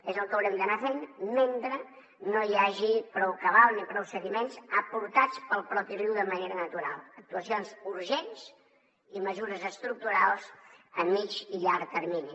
és el que haurem d’anar fent mentre no hi hagi prou cabal ni prou sediments aportats pel propi riu de manera natural actuacions urgents i mesures estructurals a mitjà i llarg termini